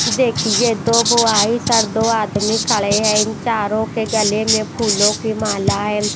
देखिए दो बुआई सर दो आदमी खड़े हैं इन चारों के गले में फूलों की माला है।